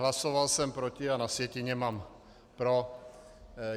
Hlasoval jsem proti, a na sjetině mám pro.